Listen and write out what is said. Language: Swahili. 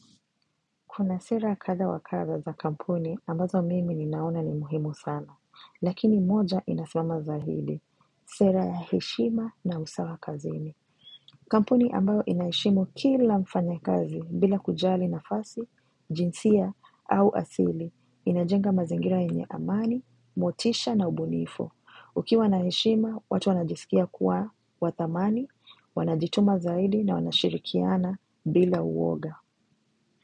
Kuna sera kadha wa kadha za kampuni ambazo mimi ninaona ni muhimu sana, lakini moja inasimama zaidi, sera ya heshima na usawa kazini. Kampuni ambayo inaheshimu kila mfanyakazi bila kujali nafasi, jinsia au asili, inajenga mazingira yenye amani, motisha na ubunifu. Ukiwa na heshima, watu wanajisikia kuwa wathamani, wanajituma zaidi na wanashirikiana bila uoga.